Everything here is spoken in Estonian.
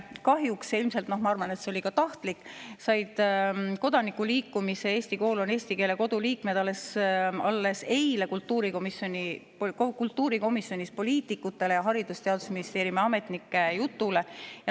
Kahjuks – ma arvan, et see ilmselt oli tahtlik – said kodanikuliikumise "Eesti kool on eesti keele kodu" liikmed alles eile kultuurikomisjonis poliitikute ja Haridus‑ ja Teadusministeeriumi ametnike jutule.